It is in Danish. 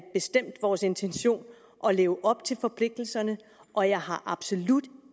bestemt vores intention at leve op til forpligtelserne og jeg har absolut